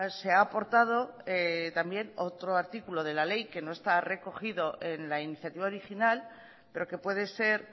se ha aportado también otro artículo de la ley que no está recogido en la iniciativa original pero que puede ser